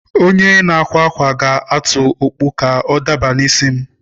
Onye na-akwa akwa ga-atụ okpu ka ọ dabara n'isi m.